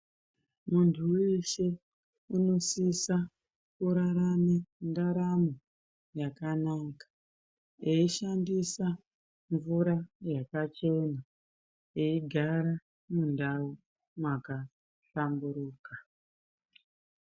Muntu weshe unosisa kurarama ndaramo yakanaka eishandisa mvura yakachena eigara mundau mwakahlamburuka.